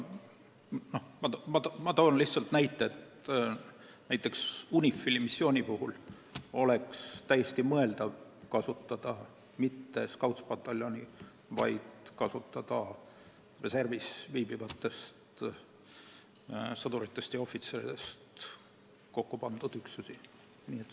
Ma toon lihtsalt näite, et UNIFIL-i missiooni puhul oleks täiesti mõeldav kasutada mitte Scoutspataljoni, vaid reservis viibivatest sõduritest ja ohvitseridest kokku pandud üksusi.